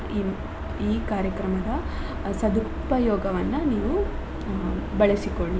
ಈ ಈ ಕಾರ್ಯಕ್ರಮದ ಸದುಪಯೋಗವನ್ನ ನೀವು ಅ ಬಳಸಿಕೊಳ್ಳಿ.